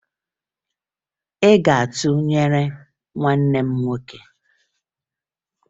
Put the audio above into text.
Ị ga-aga tụnyere nwanne m nwoke!